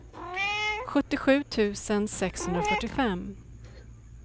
sjuttiosju tusen sexhundrafyrtiofem